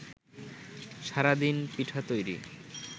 সারাদিন পিঠা তৈরি